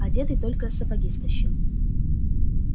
одетый только сапоги стащил